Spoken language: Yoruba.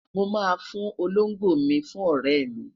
mo ma fún Olongbo mi fún ọrẹ mi